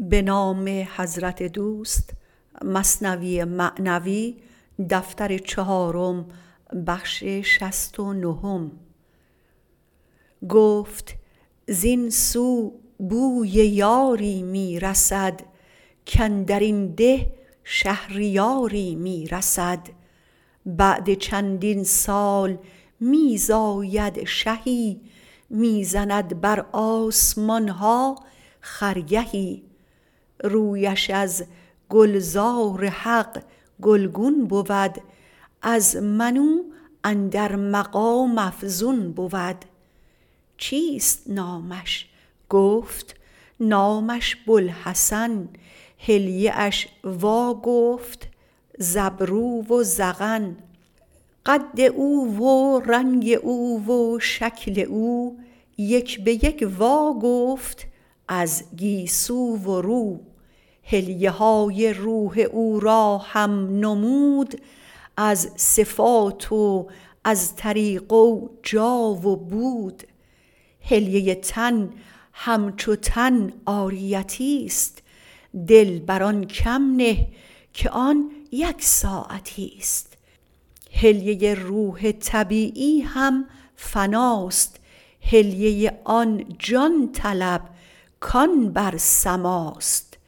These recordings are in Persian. گفت زین سو بوی یاری می رسد کاندرین ده شهریاری می رسد بعد چندین سال می زاید شهی می زند بر آسمان ها خرگهی رویش از گلزار حق گلگون بود از من او اندر مقام افزون بود چیست نامش گفت نامش بوالحسن حلیه اش وا گفت ز ابرو و ذقن قد او و رنگ او و شکل او یک به یک واگفت از گیسو و رو حلیه های روح او را هم نمود از صفات و از طریقه و جا و بود حلیه تن هم چو تن عاریتی ست دل بر آن کم نه که آن یک ساعتی ست حلیه روح طبیعی هم فنا ست حلیه آن جان طلب کان بر سما ست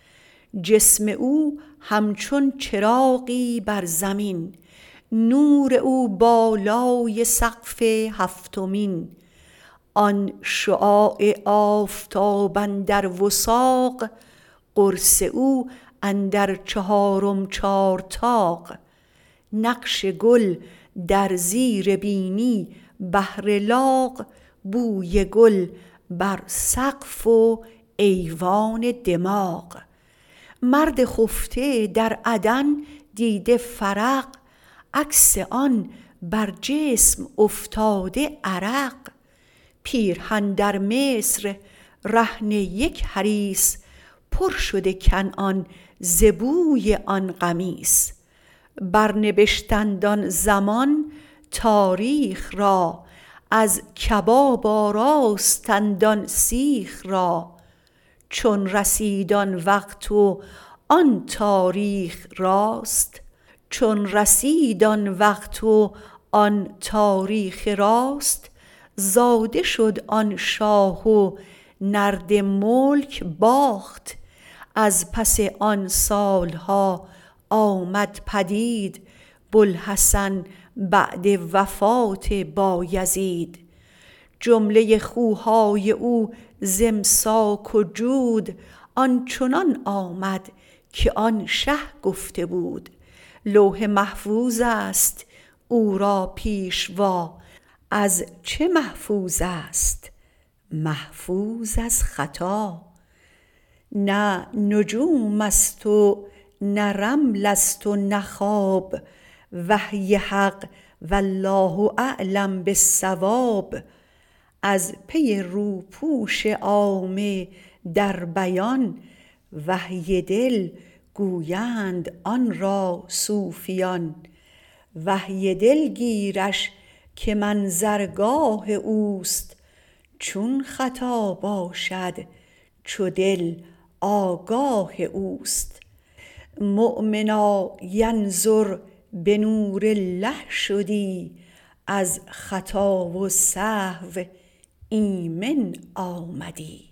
جسم او هم چون چراغی بر زمین نور او بالای سقف هفتمین آن شعاع آفتاب اندر وثاق قرص او اندر چهارم چارطاق نقش گل در زیر بینی بهر لاغ بوی گل بر سقف و ایوان دماغ مرد خفته در عدن دیده فرق عکس آن بر جسم افتاده عرق پیرهن در مصر رهن یک حریص پر شده کنعان ز بوی آن قمیص بر نبشتند آن زمان تاریخ را از کباب آراستند آن سیخ را چون رسید آن وقت و آن تاریخ راست زاده شد آن شاه و نرد ملک باخت از پس آن سال ها آمد پدید بوالحسن بعد وفات بایزید جمله خوهای او ز امساک و جود آن چنان آمد که آن شه گفته بود لوح محفوظ است او را پیشوا از چه محفوظ است محفوظ از خطا نه نجوم ست و نه رمل ست و نه خواب وحی حق والله اعلم بالصواب از پی روپوش عامه در بیان وحی دل گویند آن را صوفیان وحی دل گیرش که منظرگاه اوست چون خطا باشد چو دل آگاه اوست مؤمنا ینظر به نور الله شدی از خطا و سهو آمن آمدی